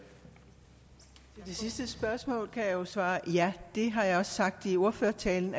sidste spørgsmål kan jeg jo svare ja det har jeg også sagt i ordførertalen